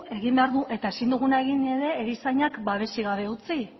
egin behar dugu eta ezin duguna egin ere erizainak babesik gabe utzi